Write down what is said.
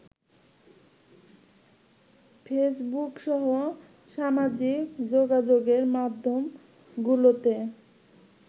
ফেসবুকসহ সামাজিক যোগাযোগের মাধ্যমগুলোতে